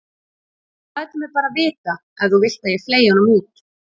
Þú lætur mig bara vita ef þú vilt að ég fleygi honum út.